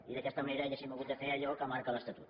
i d’aquesta manera hauríem hagut de fer allò que marca l’estatut